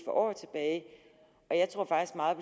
år tilbage og jeg tror faktisk meget